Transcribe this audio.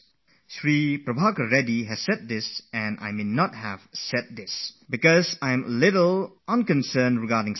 This is what Prabhakar Reddy has said, something which I would have perhaps dared not to say because I am not very particular when it comes to sleeping